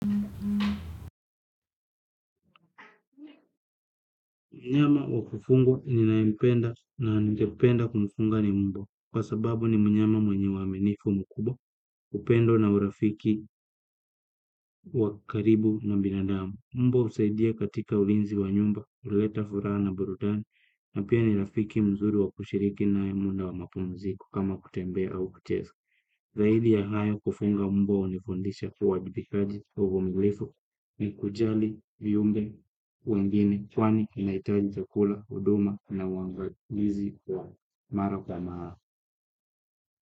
Myama wa kufungwa ninaempenda na ningependa kumfunga ni mbwa kwa sababu ni mnyama mwenye uwaminifu mkubwa upendo na urafiki wa karibu na binadamu. Mbwa usaidia katika ulinzi wa nyumba, uleta furaha na burudani na pia ni rafiki mzuri wa kushiriki nae muda wa mapumziko kama kutembea au kuchesa. Zaidi ya hayo kufunga umbwa unifundisha uwajibikaji uvumilifu ni kujali, viumbe, wengine, kwani inaitaji chakula, huduma na uwangalizi wa mara kwa mara.